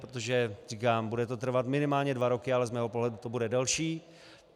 Protože říkám, bude to trvat minimálně dva roky, ale z mého pohledu to bude delší.